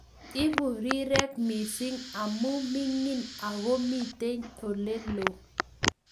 Eku rirek missing amu mining ako mitei oleloo